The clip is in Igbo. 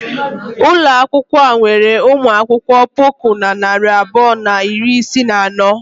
Ụlọ akwụkwọ a nwere ụmụ akwụkwọ puku na narị abụọ na iri isii na anọ.